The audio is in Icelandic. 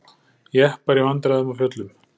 Jeppar í vandræðum á fjöllum